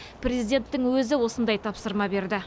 президенттің өзі осындай тапсырма берді